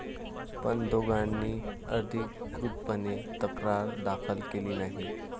पण दोघांनी अधिकृतपणे तक्रार दाखल केली नाही.